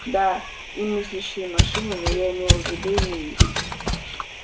да и мыслящие машины но я имела в виду не их